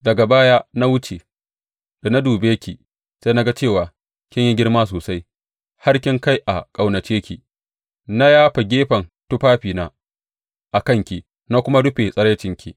Daga baya na wuce, da na dube ki sai na ga cewa kin yi girma sosai har kin kai a ƙaunace ki, na yafa gefen tufafina a kanki na kuma rufe tsiraincinki.